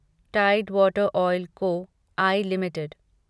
Tide Water Oil Co I limited